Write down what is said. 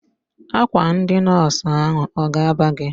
Akwa ndị nọọsụ ahụ ọ ga-aba gị?